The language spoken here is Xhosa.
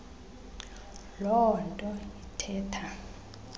loo nto ithetha